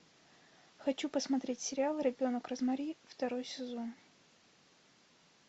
хочу посмотреть сериал ребенок розмари второй сезон